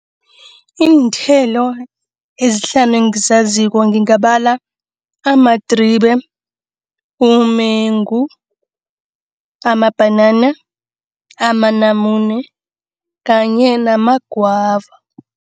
Iinthelo ezihlanu engizaziko ngingabala amadribe, umengu, amabhanana, amanamune kanye namagwava.